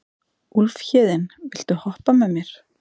Úlfhéðinn, viltu hoppa með mér?